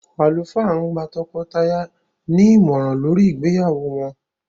Àlùfáà ń gba tọkọ-tìyàwó ní ìmọ̀ràn lórí ìgbéyàwó wọ́n.